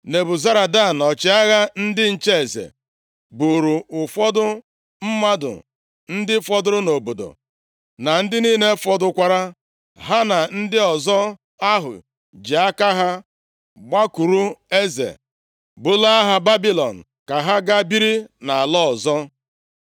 Nebuzaradan, ọchịagha ndị nche eze, buuru ụfọdụ mmadụ ndị fọdụrụ nʼobodo, na ndị niile fọdụkwara, ha na ndị ọzọ ahụ ji aka ha gbakwuru eze bulaa ha Babilọn, ka ha ga biri nʼala ọzọ.